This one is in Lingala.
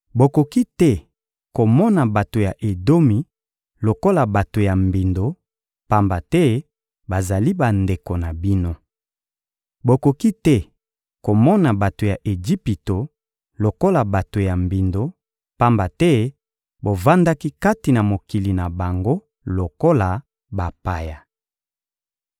Bokoki te komona bato ya Edomi lokola bato ya mbindo, pamba te bazali bandeko na bino. Bokoki te komona bato ya Ejipito lokola bato ya mbindo, pamba te bovandaki kati na mokili na bango lokola bapaya.